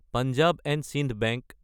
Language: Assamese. পঞ্জাৱ & চাইণ্ড বেংক